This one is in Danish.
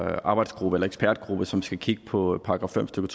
her arbejdsgruppe eller ekspertgruppe som skal kigge på § fem stykke